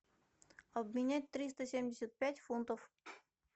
обменять триста семьдесят пять фунтов